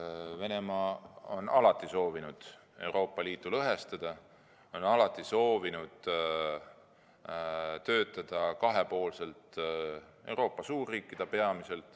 Venemaa on alati soovinud Euroopa Liitu lõhestada, on alati soovinud töötada kahepoolselt peamiselt Euroopa suurriikidega.